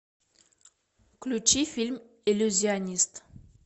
включи фильм иллюзионист